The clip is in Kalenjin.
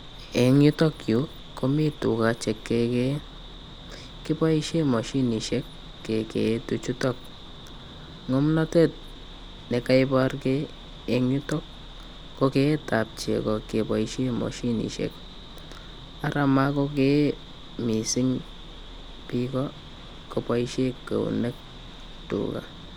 Eng' yutok yu komii tuga chekegeye kipoishe moshinisiek kegee tu chutok ng'omnatet nekaipar gei eng' yotok ko k'eet ab chego kepoishe moshinisiek ara makogee mising' piko kopaishe keunek tuga.